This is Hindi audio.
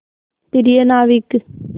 प्रिय नाविक